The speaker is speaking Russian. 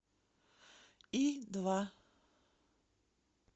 и два